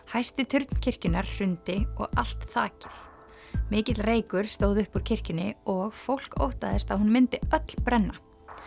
hæsti turn kirkjunnar hrundi og allt þakið mikill reykur stóð upp úr kirkjunni og fólk óttaðist að hún myndi öll brenna